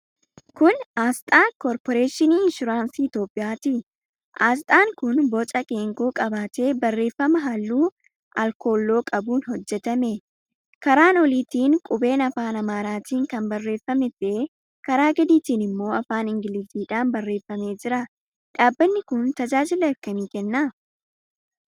Kun aasxaa Korporeeshinii Inshuraansii Itiyoophiyaati. Aasxaan kun boca geengoo qabaatee barreeffama halluu alkooloo qabuun hojjetame. Karaa oliitiin qubee afaan Amaaraatiin kan barreeffame ta'ee, karaa gadiitiin immoo afaan Ingiliziidhaan barreeffamee jira. Dhaabbanni kun tajaajila akkamii kenna?